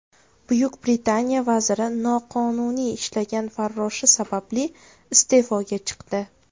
Buyuk Britaniya vaziri noqonuniy ishlagan farroshi sababli iste’foga chiqdi.